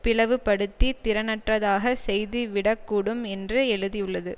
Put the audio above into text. பிளவுபடுத்தி திறனற்றதாகச் செய்துவிடக்கூடும் என்று எழுதியுள்ளது